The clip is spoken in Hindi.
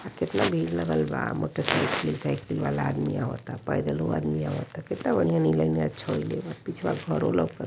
आ केतना भीड़ लगल बा। मोटरसाइकिल साइकिल वाला आदमी आवता। पैदलो आदमी आवता। कित्ता बढ़िया नीला नीला छड़ी ले बा। पिछवा घरो लऊक --